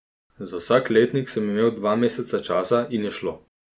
Za vsak letnik sem imel dva meseca časa in je šlo.